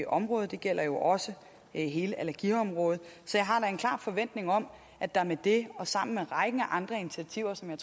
området det gælder jo også hele allergiområdet så jeg har da en klar forventning om at der med det og sammen med rækken af andre initiativer som jeg